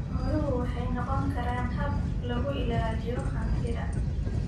Xooluhu waxay noqon karaan hab lagu ilaaliyo hantida.